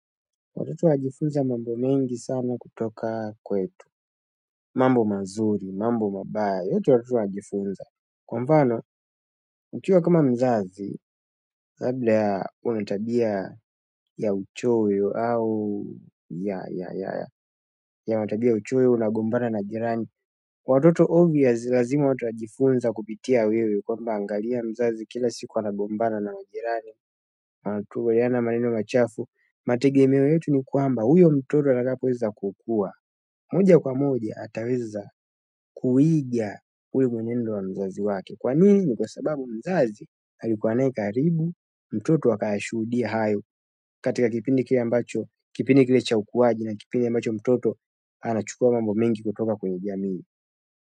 Watoto wajifunza mambo mengi sana kutoka kwetu. Mambo mazuri mambo mabaya yote watoto wanajifunza kwa mfano, ukiwa kama mzazi, kabla ya kuwa na tabia ya uchoyo au ya matabia ya uchoyo unagombana na jirani. Watoto obvious, lazima watajifunza kupitia wewe. Kwamba angalia mzazi kila siku anagombana na jirani. Wanatupaliana maneno machafu, mategemeo yetu ni kwamba huyo mtoto atakapoweza kukua. Moja kwa moja ataweza kuiga ule mwenendo wa mzazi wake kwa nini ni kwa sababu mzazi alikuwa naye karibu mtoto akashuhudia hayo katika kipindi kile ambacho kipindi kile cha ukuwaji na kipindi ambacho mtoto anachukua mambo mengi kutoka kwenye jamii.